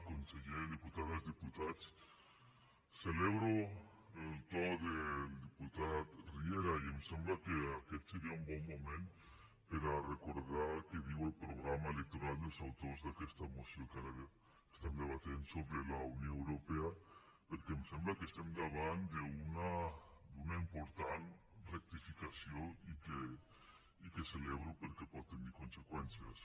conseller diputades diputats celebro el to del diputat riera i em sembla que aquest seria un bon moment per a recordar què diu el programa electoral dels autors d’aquesta moció que ara estan debatent sobre la unió europea perquè em sembla que estem davant d’una important rectificació i que ho celebro perquè pot tenir conseqüències